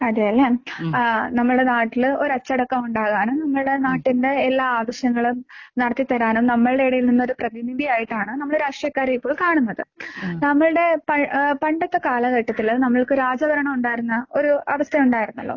അതേല്ലെ. ആഹ് നമ്മുടെ നാട്ടില് ഒരച്ചടക്കം ഉണ്ടാകാനും നമ്മുടെ നാട്ടിന്റെ എല്ലാ ആവശ്യങ്ങളും നടത്തിത്തരാനും നമ്മുടെ ഇടയിൽ നിന്ന് ഒരു പ്രതിനിധിയായിട്ടാണ് നമ്മൾ രാഷ്ട്രീയക്കാരെ ഇപ്പോൾ കാണുന്നത്. നമ്മുടെ പ ഏഹ് പണ്ടൊക്കെ കാലഘട്ടത്തില് നമ്മൾക്ക് രാജഭരണം ഉണ്ടായിരുന്ന ഒരു അവസ്ഥ ഉണ്ടായിരുന്നല്ലോ